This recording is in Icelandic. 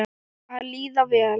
Að líða vel.